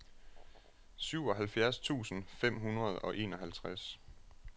syvoghalvfjerds tusind fem hundrede og enoghalvtreds